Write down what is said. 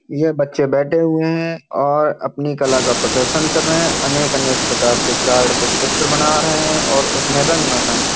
ये बच्चे बैठे हुए है। और अपनी कला का प्रदर्शन कर रहे है। अनेक-अनेक प्रकार के चार्ट पे चित्र बना रहे है। और उसमे रंग भर रहे हैं।